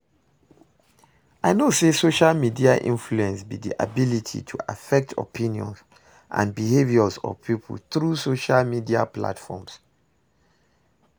I know say social media influence be di ability to affect opinions and behaviors of people through social media platforms.